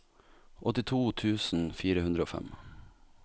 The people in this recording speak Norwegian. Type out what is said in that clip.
åttito tusen fire hundre og fem